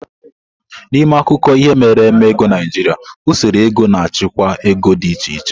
N'ime akụkọ ihe mere eme ego Naijiria usoro ego na achịkwaa ego di iche iche.